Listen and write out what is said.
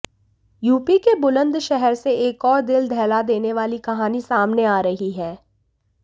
UP के बुलंदशहर से एक और दिल दहला देने वाली कहानी सामने आ रही है